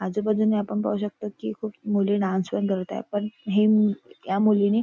आजूबाजूने आपण पाहू शकतो कि खूप मुली डांन्स पण करत आहे पण हिम या मुलींनी--